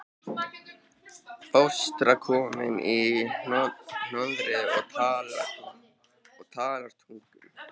Fóstra komin í hornið og talar tungum.